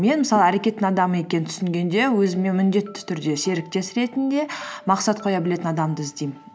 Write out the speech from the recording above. мен мысалы әрекеттің адамы екенін түсінгенде өзіме міндетті түрде серіктес ретінде мақсат қоя білетін адамды іздеймін